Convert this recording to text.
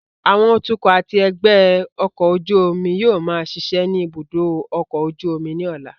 Àwọn atukọ̀ àti ẹgbẹ́ ọkọ̀ ojú omi yóò máa ṣiṣẹ́ ní ibùdó ọkọ̀ ojú omi ní ọ̀la